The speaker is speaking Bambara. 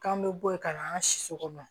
K'an bɛ bɔ yen ka na an ka si sogoma